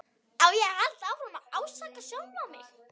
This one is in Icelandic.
Á ég að halda áfram að ásaka sjálfan mig?